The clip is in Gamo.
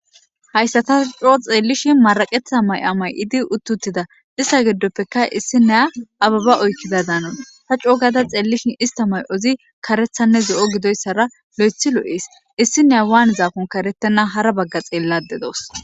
hayssata coo xeellishin maraqetha may7amay7idi utti uttida ista geddoppeka issineya ababa oykkida daanan ha coo gada xeellishin ista may7ozi karethanne zo7o gidoyssara lo7ethi lo7ees issi neya waan zaakon karettena hara bagga xeellade dawus